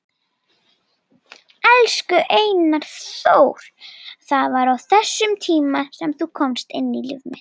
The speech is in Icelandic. Elsku Einar Þór, það var á þessum tíma sem þú komst inn í líf mitt.